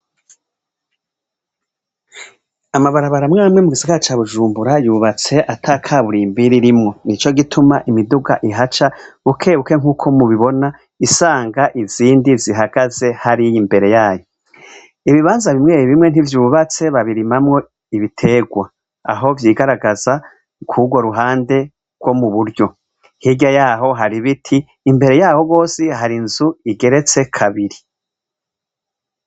Amabarabaramwamwe mu gisiga ca bujumbura yubatse ata kaburiye imbiri rimwo ni co gituma imiduga ihaca bukebuke nk'uko mubibona isanga izindi zihagaze hariyo imbere yayo ibibanza bimwebi bimwe ntivyubatse babirimamwo ibiterwa aho vyigaragaze a kugwo ruhande bwo mu buryo hirya yaho hari biti imbere yabo rwose hari nzu igeretse kabiri.